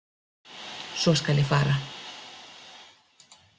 Svo skal ég fara.